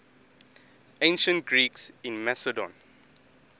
ancient greeks in macedon